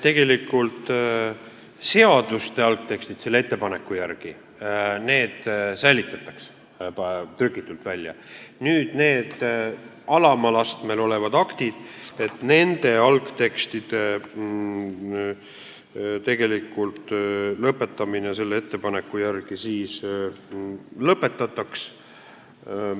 Tegelikult säilitatakse seaduste algtekstid selle ettepaneku järgi väljatrükitult, alama astme aktide algtekstide säilitamine selle ettepaneku järgi lõpetatakse.